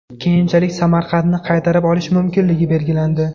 Keyinchalik Samarqandni qaytarib olish mumkinligi belgilandi.